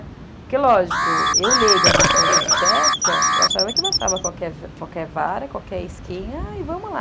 Porque, lógico, eu leiga no assunto de pesca, eu achava que bastava qualquer vara, qualquer isquinha e vamos lá.